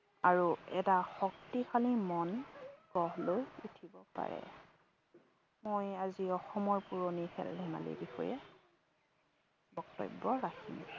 আৰু এটা শক্তিশালী মন গঢ় লৈ উঠিব পাৰে। মই আজি অসমৰ পুৰণি খেল ধেমালিৰ বিষয়ে বক্তব্য ৰাখিম।